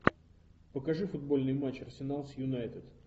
покажи футбольный матч арсенал с юнайтед